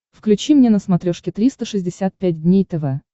включи мне на смотрешке триста шестьдесят пять дней тв